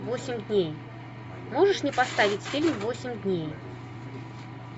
восемь дней можешь мне поставить фильм восемь дней